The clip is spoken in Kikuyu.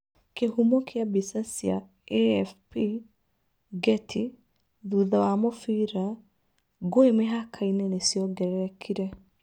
Kĩhumo kia bicha, cia AFP/Getty thutha wa mũbira, ngũĩ mĩhaka-inĩ nĩ ciongererekire.